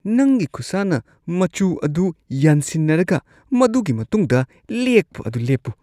ꯅꯪꯒꯤ ꯈꯨꯠꯁꯥꯅ ꯃꯆꯨ ꯑꯗꯨ ꯌꯥꯟꯁꯤꯟꯅꯔꯒ ꯃꯗꯨꯒꯤ ꯃꯇꯨꯡꯗ ꯂꯦꯛꯄ ꯑꯗꯨ ꯂꯦꯞꯄꯨ꯫